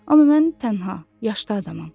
Amma mən tənha, yaşlı adamam.